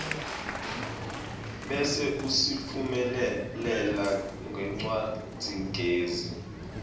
bese usitfumelela ngencwadzigezi